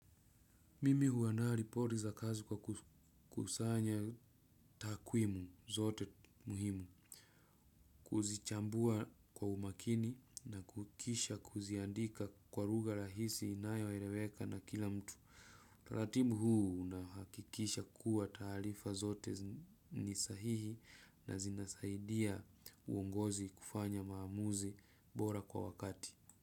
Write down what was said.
Mimi huandaa ripoti za kazi kwa kukusanya takwimu zote muhimu. Kuzichambua kwa umakini na kisha kuziandika kwa lugha rahisi inayo eleweka na kila mtu. Utaratibu huu na hakikisha kuwa taarifa zote ni sahihi na zinasaidia uongozi kufanya maamuzi bora kwa wakati.